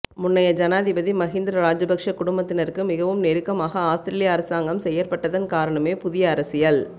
முன்னைய ஜனாதிபதி மகிந்த ராஜபக்ச குடும்பத்தினருக்கு மிகவும் நெருக்கமாக அவுஸ்திரேலியா அரசாங்கம் செயற்பட்டதன் காரணமே புதிய அரசியல்